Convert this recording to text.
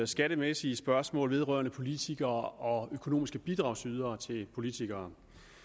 skattemæssige spørgsmål vedrørende politikere og økonomiske bidragydere til politikere